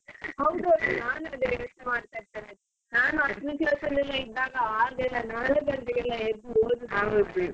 ಹೌದೌದು ನಾನ್ ಅದೇ ಯೋಚ್ನೆ ಮಾಡ್ತಾ ಇರ್ತೆನೆ ನಾನು ಹತ್ತನೇ class ಅಲ್ಲಿ ಎಲ್ಲ ಇದ್ದಾಗ ಆಗೆಲ್ಲ ನಾಲ್ಕು ಗಂಟೆಗೆಲ್ಲ ಎದ್ದು ಓದುದು .